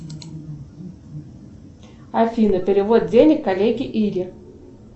афина перевод денег коллеге ире